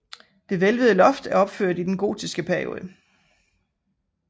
Det hvælvede loft er opført i den gotiske periode